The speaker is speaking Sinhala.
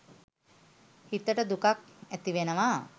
හිතට දුකක් ඇතිවෙනවා.